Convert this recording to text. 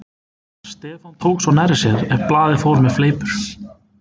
Stefán tók svo nærri sér ef blaðið fór með fleipur.